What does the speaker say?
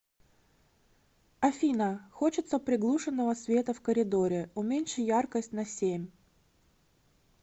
афина хочется приглушенного света в коридоре уменьши яркость на семь